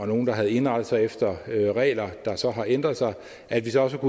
nogle der havde indrettet sig efter regler der så har ændret sig at vi så også har